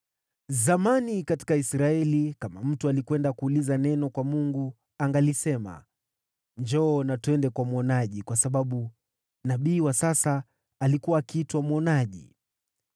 (Zamani katika Israeli, kama mtu alikwenda kuuliza neno kwa Mungu, angalisema, “Njoo na twende kwa mwonaji,” kwa sababu nabii wa sasa alikuwa akiitwa mwonaji.)